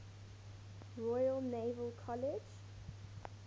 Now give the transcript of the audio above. royal naval college